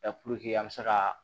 puruke an be se ka